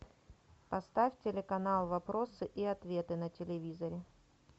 поставь телеканал вопросы и ответы на телевизоре